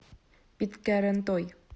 питкярантой